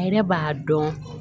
A yɛrɛ b'a dɔn